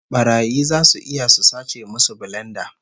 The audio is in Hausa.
Barayi zasu iya su sace musu bilenda